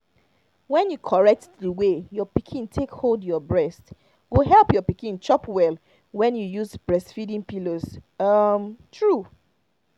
when you correct the way your pikin take hold your breast go help your pikin chop well when you use breastfeeding pillows um true